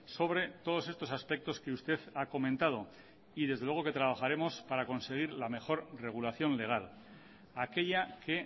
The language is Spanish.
sobre todos estos aspectos que usted ha comentado y desde luego que trabajaremos para conseguir la mejor regulación legal aquella que